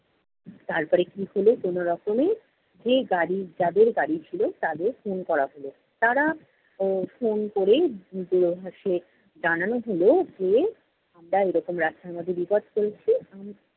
তারপরে কী হলো কোনরকমে যেই গাড়ি যাদের গাড়ি ছিল, তাদের phone করা হলো। তারা, উহ phone ক'রে দূরভাসে জানানো হল যে, আমরা এরকম রাস্তার মধ্যে বিপদ চলছে।